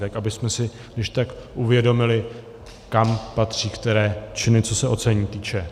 Tak abychom si když tak uvědomili, kam patří které činy, co se ocenění týče.